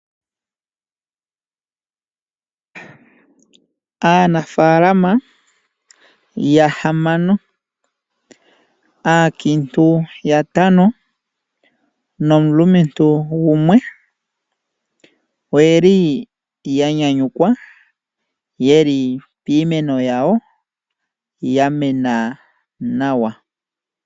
Aanafalama yahamano, aankintu yatano nomulumentu gumwe, oya nyanyukwa yeli piimeno yawo yamena nawa.